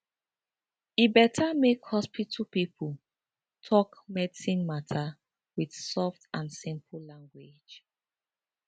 e beta make hospital pipo talk medicine mata wit soft and simple language